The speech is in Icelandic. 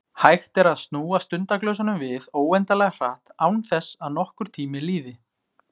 Hægt er að snúa stundaglösunum við óendanlega hratt, án þess að nokkur tími líði.